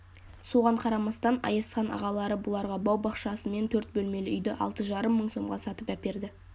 соған қарамастан аязхан ағалары бұларға бау-бақшасымен төрт бөлмелі үйді алты жарым мың сомға сатып әперді